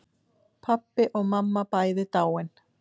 Pabbi og mamma bæði dáin.